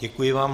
Děkuji vám.